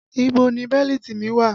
Ibo ni bẹ́lítì mi wà?